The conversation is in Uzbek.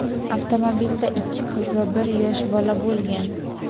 avtomobilda ikki qiz va bir yosh bola bo‘lgan.